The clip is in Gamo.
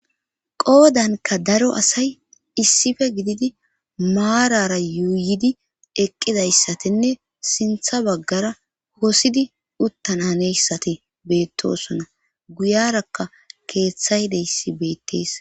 qoodanka daro asay issife gididi maarara yuuyidi eqqidayssatinne sintha baggara hosidi uttan aneyssati beettosona guyarakka keeththaydeyssi beettees